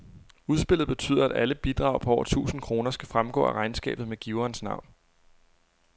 Udspillet betyder, at alle bidrag på over tusind kroner skal fremgå af regnskabet med giverens navn.